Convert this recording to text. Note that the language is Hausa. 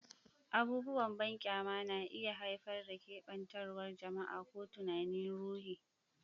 Abubuwan banƙyama na iya haifar da keɓantawar jama'a ko tunanin ruhi.